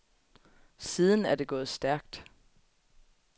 Siden er det gået stærkt.